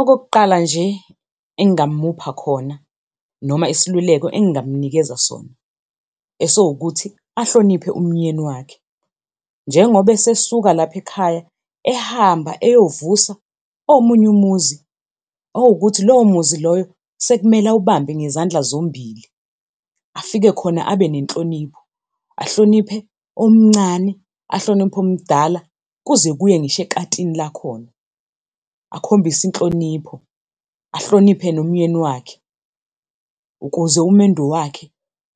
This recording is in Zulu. Okokuqala nje, engamupha khona, noma isiluleko engamunikeza sona, esiwukuthi ahloniphe umnyeni wakhe. Njengoba esesuka lapho ekhaya ehamba eyovusa omunye umuzi, okuwukuthi lowo muzi loyo sekumele awubambe ngezandla zombili, afike khona abe nenhlonipho, ahloniphe omncane, ahloniphe omdala kuze kuye ngisho ekatini lakhona. Akhombise inhlonipho, ahloniphe nomnyeni wakhe, ukuze umendo wakhe